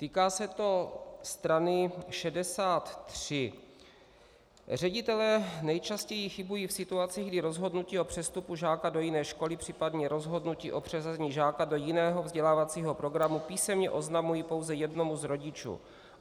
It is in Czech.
Týká se to strany 63: Ředitelé nejčastěji chybují v situacích, kdy rozhodnutí o přestupu žáka do jiné školy, případně rozhodnutí o přeřazení žáka do jiného vzdělávacího programu písemně oznamují pouze jednomu z rodičů.